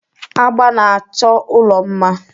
Agba na-achọ ụlọ mma.